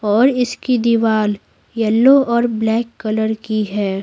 और इसकी दीवार येलो और ब्लैक कलर की है।